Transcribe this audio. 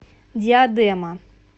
диадема